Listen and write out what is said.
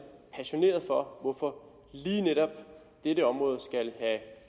passioneret for hvorfor lige netop dette område skal